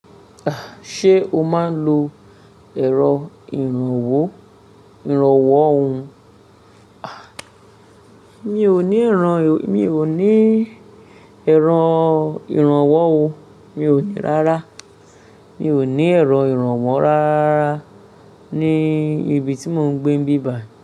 Ah! Ṣé o máa ń lo ẹ̀rọ ìrànwọ́ ìrànwọ́ ohùn? Ah! Mi ò ní ìran, mi ò ní ẹ̀rọ ìrànwọ́ ohùn, mi ò ní rárá. Mi ò ní ẹ̀rọ ìrànwọ́ rárá ní ibi tí mò ń gbé n bíbài.